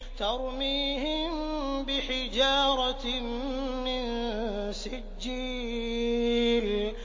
تَرْمِيهِم بِحِجَارَةٍ مِّن سِجِّيلٍ